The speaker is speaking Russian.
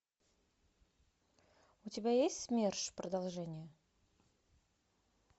у тебя есть смерш продолжение